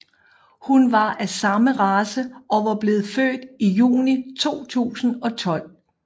Hun var af samme race og var blevet født i juni 2012